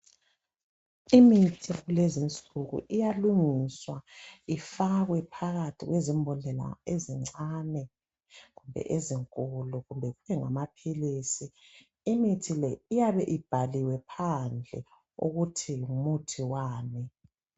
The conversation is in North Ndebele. Imithi yakulezi insuku iyalungiswa ifakwe phakathi kwezimbodlela ezincane, ezinkulu kumbe engamaphilisi. Imithi le iyabe ibhaliwe phandle ukuthi ngumuthi wani.